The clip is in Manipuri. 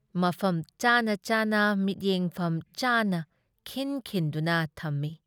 ꯃꯐꯝ ꯆꯥꯅ ꯆꯥꯅ ꯃꯤꯠꯌꯦꯡꯐꯝ ꯆꯥꯅ ꯈꯤꯟ-ꯈꯤꯟꯗꯨꯅ ꯊꯝꯃꯤ ꯫